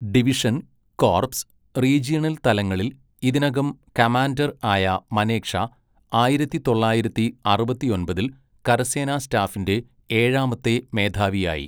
Division, corps, regional തലങ്ങളിൽ ഇതിനകം commander ആയ മനേക്ഷാ ആയിരത്തി തൊള്ളായിരത്തി അറുപത്തിയൊമ്പതിൽ കരസേനാ സ്റ്റാഫിന്റെ ഏഴാമത്തെ മേധാവിയായി.